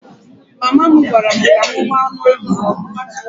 Mama m gwara m ka m hụ anụ ahụ n'ọkụ